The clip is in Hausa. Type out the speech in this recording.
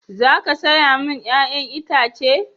Za ka saya mini 'ya'yan itace?